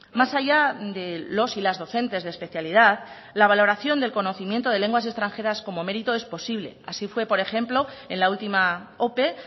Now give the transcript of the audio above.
más allá de los y las docentes de especialidad la valoración del conocimiento de lenguas extranjeras como mérito es posible así fue por ejemplo en la última ope